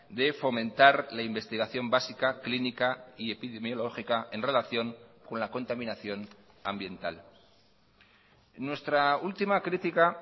de fomentar la investigación básica clínica y epidemiológica en relación con la contaminación ambiental nuestra última crítica